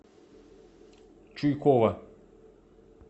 чуйкова